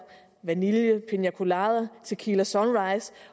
vanilje piña colada tequila sunrise